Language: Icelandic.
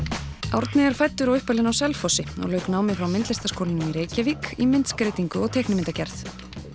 Árni er fæddur og uppalinn á Selfossi og lauk námi frá Myndlistarskólanum í Reykjavík í myndskreytingu og teiknimyndagerð